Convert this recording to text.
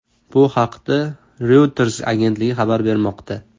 Bu haqda Reuters agentligi xabar bermoqda .